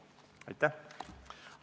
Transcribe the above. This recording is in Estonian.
Aitäh!